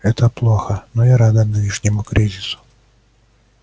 это плохо но я рада нынешнему кризису